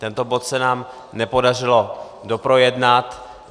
Tento bod se nám nepodařilo doprojednat.